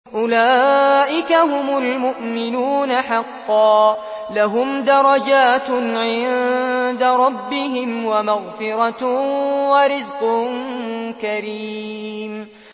أُولَٰئِكَ هُمُ الْمُؤْمِنُونَ حَقًّا ۚ لَّهُمْ دَرَجَاتٌ عِندَ رَبِّهِمْ وَمَغْفِرَةٌ وَرِزْقٌ كَرِيمٌ